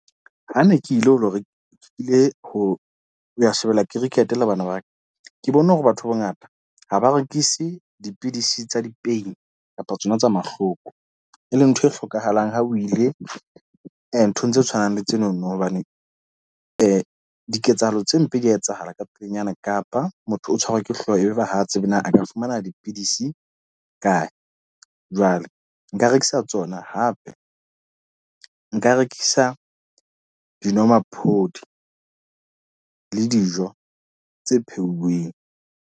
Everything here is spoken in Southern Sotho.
Ha ne ke ile ho lo re kile ho ya shebella cricket le bana ba ka. Ke bone hore batho bongata, ha ba rekise dipidisi tsa di-pain kapa tsona tsa mahloko. E leng ntho e hlokahalang ha o ile nthong tse tshwanang le tsenono. Hobane diketsahalo tse mpe dia etsahala ka pelenyana kapa motho o tshwarwa ke hlooho, e be ba ha tsebe na a ka fumana dipidisi kae. Jwale nka rekisa tsona hape nka rekisa dinomaphodi le dijo tse pheuweng.